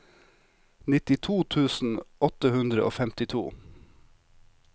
nittito tusen åtte hundre og femtito